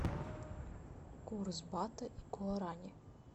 курс бата и гуарани